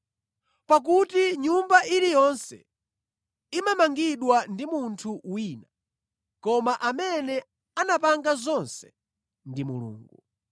Pakuti nyumba iliyonse imamangidwa ndi munthu wina, koma amene anapanga zonse ndi Mulungu.